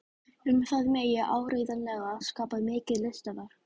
Um það megi áreiðanlega skapa mikið listaverk.